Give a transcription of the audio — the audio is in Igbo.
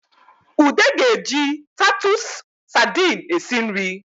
Ude ga-eji tatụsụ sadini esi nri